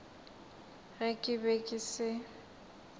ge ke be ke se